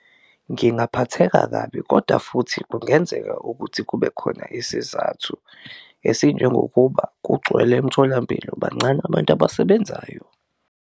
Ngingaphatheka kabi koda futhi kungenzeka ukuthi kube khona isizathu esinjengokuba kugcwele emtholampilo bancane abantu abasebenzayo.